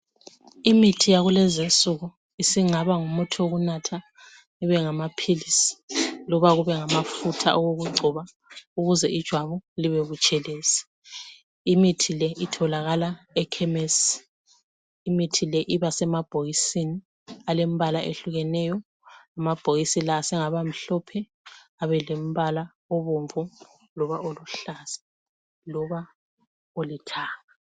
imithi yakulezinsuku isingaba ngumuthi wokunatha ibe ngamaphilisi loba kube ngama futha okugcoba ukuze ijwabu libe butshelezi imithi le itholakala ekhemesi imithi le iba semabhokisini alembala ehlukeneyo amabhokisi la sengaba mhlophe abe lembala ebomvu loba olihlaza loba olithanga